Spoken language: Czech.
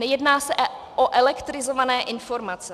Nejedná se o elektrizované informace.